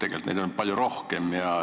Tegelikult on neid ju palju rohkem.